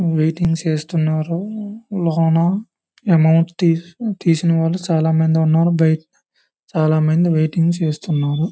Waiting చేస్తున్నారు లోన amount తీసి తీసినవాలు చాలా మంది ఉన్నారు చాలా మంది వెయిటింగ్ చేస్తున్నారు.